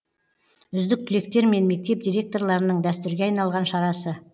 үздік түлектер мен мектеп директорларының дәстүрге айналған шарасы